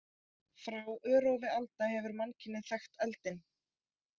Frá örófi alda hefur mannkynið þekkt eldinn.